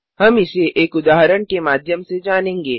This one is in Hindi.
हम इसे एक उदाहरण के माध्यम से जानेंगे